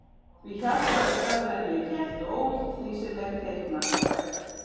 Því hjartað var stærra en ég hélt og ólíkt því sem er teiknað á veggi.